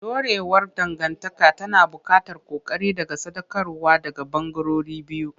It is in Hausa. Dorewar dangantaka tana buƙatar ƙoƙari da sadaukarwa daga ɓangarorin biyu.